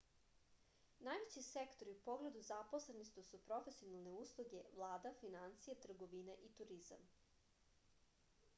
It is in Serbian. najveći sektori u pogledu zaposlenosti su profesionalne usluge vlada finansije trgovina i turizam